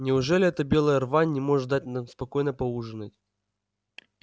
неужели эта белая рвань не может дать нам спокойно поужинать